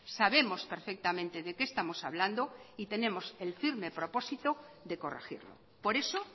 sabemos perfectamente de qué estamos hablando y tenemos el firme propósito de corregirlo por eso